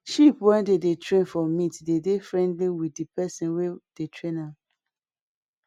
sheep wey dem dey train for meat dey friendly with di pesin wey dey train am